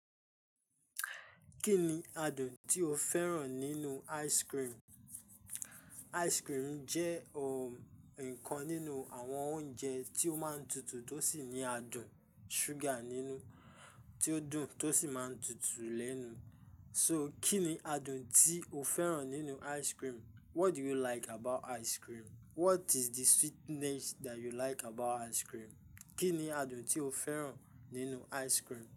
Kí ni adùn tí o fẹ́ràn nínú ice cream? Ice cream jẹ́ o nǹkan nínú àwọn oúnjẹ tí ó máa ń tutù tó sì ní adùn ṣúgà nínú tí ó dùn tó sì máa ń tutù lẹ́nu. So kí ni adùn tí o fẹ́ràn nínú ice cream? What do you like about ice cream? What is the sweetness that you like about ice cream? Kí ni adùn tí o fẹ́ràn nínú ice cream?